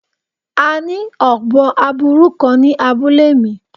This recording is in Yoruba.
A ni obo aburu kan ni abule mi